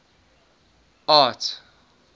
art